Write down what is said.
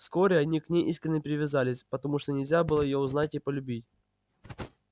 вскоре они к ней искренно привязались потому что нельзя было её узнать и полюбить